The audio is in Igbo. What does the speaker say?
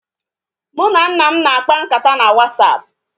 Mụ na nna m na-akpa nkata na wasapụ